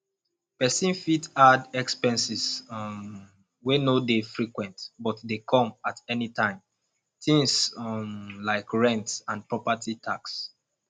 person fit add expenses um wey no dey frequent but dey come at anytime things um like rent and property tax